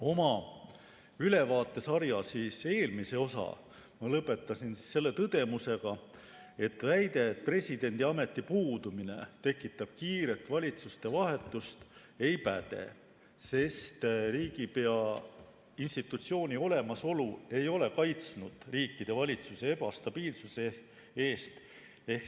Oma ülevaatesarja eelmise osa lõpetasin tõdemusega, et väide, et presidendiameti puudumine tekitab kiiret valitsuste vahetust, ei päde, sest riigipea institutsiooni olemasolu ei ole kaitsnud riikide valitsusi ebastabiilsuse eest.